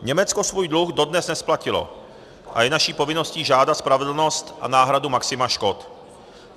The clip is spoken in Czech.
Německo svůj dluh dodnes nesplatilo a je naší povinností žádat spravedlnost a náhradu maxima škod.